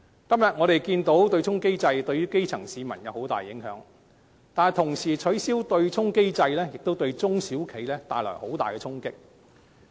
今天我們看到對沖機制對基層市民造成極大影響，但一旦取消對沖機制，亦會對中小企帶來很大的衝擊。